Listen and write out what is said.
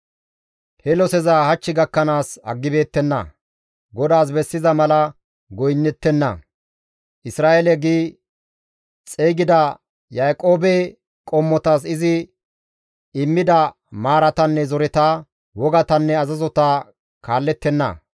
He loseza hach gakkanaas aggibeettenna; GODAAS bessiza mala goynnettenna; Isra7eele gi xeygida Yaaqoobe qommotas izi immida maaratanne zoreta, wogatanne azazota kaallettenna.